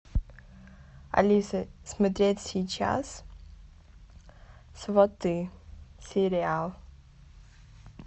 алиса смотреть сейчас сваты сериал